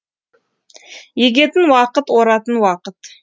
егетін уақыт оратын уақыт